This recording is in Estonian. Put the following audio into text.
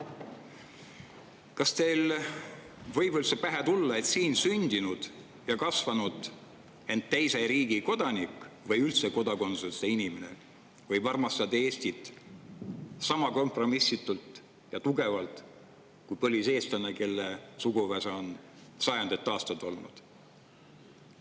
Kas teile võib üldse pähe tulla, et siin sündinud ja kasvanud, ent teise riigi kodanik või üldse kodakondsuseta inimene võib armastada Eestit sama kompromissitult ja tugevalt kui põliseestlane, kelle suguvõsa on siin sada aastat?